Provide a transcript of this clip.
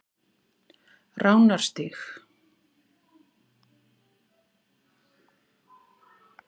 Ránarstíg